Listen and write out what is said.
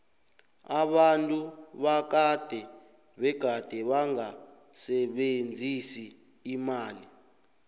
abantu bakade begade bangasebenzisi imali